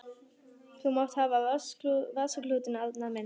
Þú mátt hafa vasaklútinn, Arnar minn!